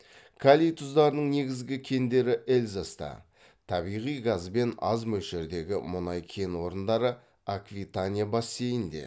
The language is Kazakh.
калий тұздарының негізгі кендері эльзаста табиғи газ бен аз мөлшердегі мұнай кен орындары аквитания бассейнінде